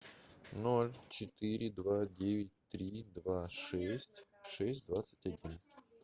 ноль четыре два девять три два шесть шесть двадцать один